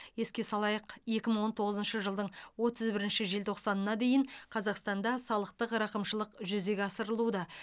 еске салайық екі мың он тоғызыншы жылдың отыз бірінші желтоқсанына дейін қазақстанда салықтық рақымшылық жүзеге асырылуда